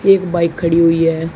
एक बाइक खड़ी हुई है।